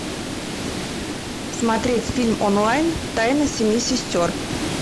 смотреть фильм онлайн тайна семи сестер